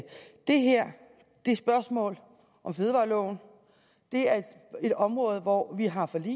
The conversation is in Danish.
det her er et spørgsmål om fødevareloven det er et område hvor vi har forlig